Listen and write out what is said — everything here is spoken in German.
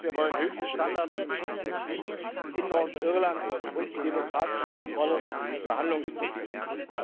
Kurz, wir wollen höchste Standards, den Schutz des Friedens in Nordirland und die demokratische Kontrolle des Verhandlungsprozesses.